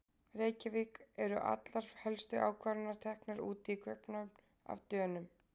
Reykjavík, eru allar helstu ákvarðanir teknar úti í Kaupmannahöfn- af Dönum.